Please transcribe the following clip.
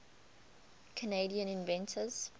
canadian inventors